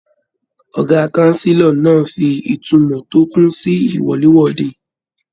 Ọgá kánsílọ̀ náà fí ìtumọ̀ tó kún sí iwọ̀lèwọ̀de.